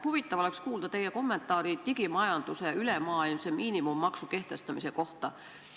Huvitav oleks kuulda teie kommentaari digimajanduse ülemaailmse miinimummaksu kehtestamise kohta.